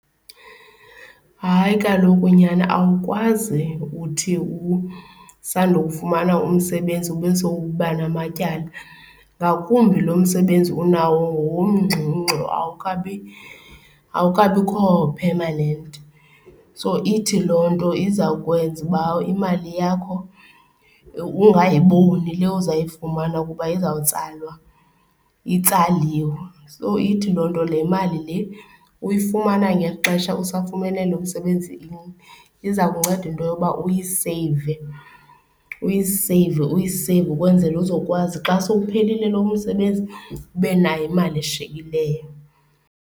Hayi, kaloku nyana awukwazi uthi usando fumana umsebenzi ube sowuba namatyala ngakumbi lo msebenzi unawo ngowomngxungxu awukabi awukabikho phemanenti so ithi loo nto iza kwenza uba imali yakho ungayiboni le uzayifumana ukuba izawutsalwa itsaliswe. So ithi loo nto le mali le uyifumana ngexesha usafumene lo msebenzi iza kunceda into yokuba uyiseyive, uyiseyive, uyiseyive ukwenzele uzokwazi xa sowuphelile lo msebenzi, ube nayo imali eshiyekileyo.